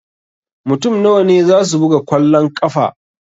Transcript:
Mutum nawa ne zasu buga kwallon ƙafa?